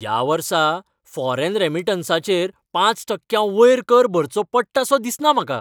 ह्या वर्सा फॉरेन रेमिटन्सांचेर पांच टक्क्यांवयर कर भरचो पडटा सो दिसना म्हाका.